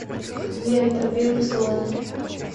лента белый слон